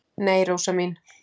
Nei, Rósa mín.